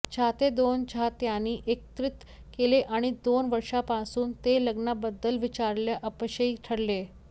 चाहते दोन चाहत्यांनी एकत्रित केले आणि दोन वर्षांपासून ते लग्नाबद्दल विचारायला अपयशी ठरले